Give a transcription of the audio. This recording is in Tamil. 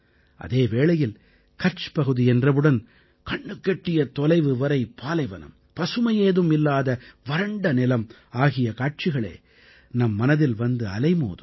அதே வேளையில் கட்ச் பகுதி என்றவுடன் கண்ணுக்கெட்டிய தொலைவு வரை பாலைவனம் பசுமையேதும் இல்லாத வறண்ட நிலம் ஆகிய காட்சிகளே நம் மனதில் வந்து அலைமோதும்